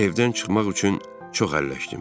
Evdən çıxmaq üçün çox əlləşdim.